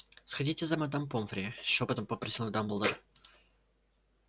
сходите за мадам помфри шёпотом попросил дамблдор